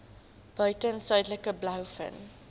buiten suidelike blouvin